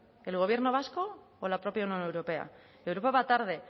el gobierno vasco o la propia unión europea europa va tarde